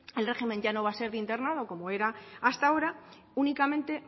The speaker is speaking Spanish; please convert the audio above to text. el régimen ya no va a ser de internado como era hasta ahora únicamente